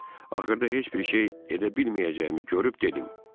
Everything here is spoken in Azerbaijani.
Axırda heç bir şey edə bilməyəcəyimi görüb dedim: